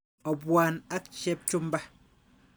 Opwan ak Chepchumba.